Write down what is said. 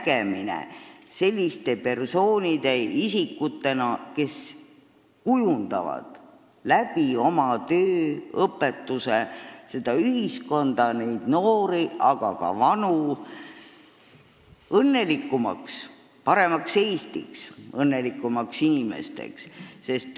– nägemine selliste persoonidena, kes kujundavad oma töö, oma õpetuse abil paremat Eestit, kes aitavad muuta meie noori, aga ka vanu inimesi õnnelikumaks.